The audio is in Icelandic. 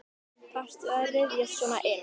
Þarftu að ryðjast svona inn?